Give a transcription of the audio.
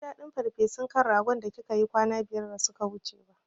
Ban ji daɗin farfesun kan ragon da kika yi kwana biyar da suka wuce ba